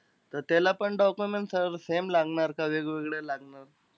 त त्यालापण document sir same लागणार का वेगळे-वेगळे लागणार?